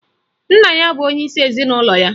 Nna ya bụ onyeisi ezinụlọ ya